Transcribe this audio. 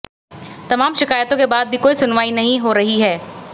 तमाम शिकायतों के बाद भी कोई सुनवाई नहीं है रही